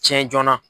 Tiɲɛ joona